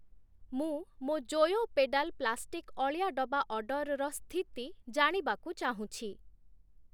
ମୁଁ ମୋ' Joyo pedal plastic ଅଳିଆ ଡବା ଅର୍ଡ଼ରର ସ୍ଥିତି ଜାଣିବାକୁ ଚାହୁଁଛି ।